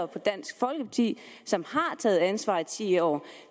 på dansk folkeparti som har taget ansvar i ti år